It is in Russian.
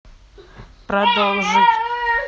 продолжить